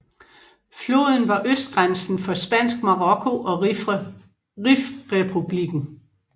Floden var østgrænsen for Spansk Marokko og Rifrepublikken